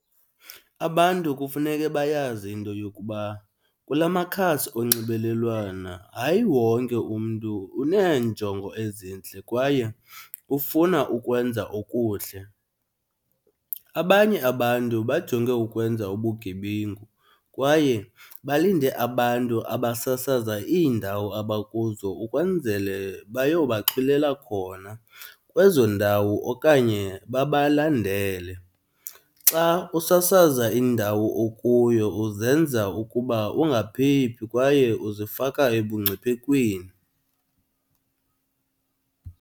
Abantu kufuneke bayazi into yokuba kula makhasi onxibelelwana hayi wonke umntu uneenjongo ezintle kwaye ufuna ukwenza okuhle. Abanye abantu bajonge ukwenza ubugebengu kwaye balinde abantu abasasaza iindawo abakuzo ukwenzele bayobaxhwilela khona kwezo ndawo okanye babalandele. Xa usasaza indawo okuyo uzenza ukuba ungaphephi kwaye uzifaka ebungciphekweni.